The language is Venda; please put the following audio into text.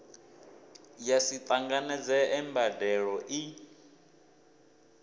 ya si tanganedzee mbandelo i